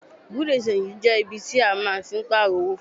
Bùréú-di-ṣenji jẹ́ ibi tí a máa ń tí pààrò owó fún owó.